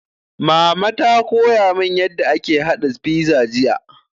Mama ta koya mun yarda ake haɗa fiza jiya